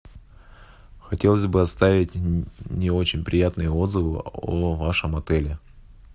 хотелось бы оставить не очень приятные отзывы о вашем отеле